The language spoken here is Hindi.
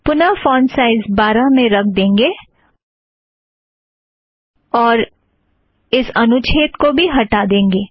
पुनः फ़ॉन्ट साइज़ बारह में रख देंगे और इस अनुच्छेद को भी हटा देंगे